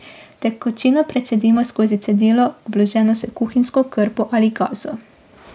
Tekočino precedimo skozi cedilo, obloženo s kuhinjsko krpo ali gazo.